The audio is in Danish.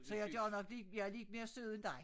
Så jeg gør nok min jeg er lidt mere sød end dig